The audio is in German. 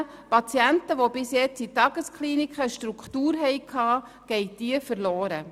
Für Patienten, die bisher in Tageskliniken eine Struktur hatten, geht diese verloren.